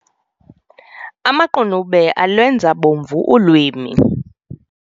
Amaqunube alwenza bomvu ulwimi.